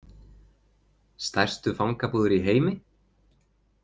Stærstu fangabúðir í heimi?